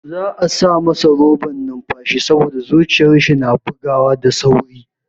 Za'a sa masa roban numfashi saboda zuciyar shi na bugawa da sauri.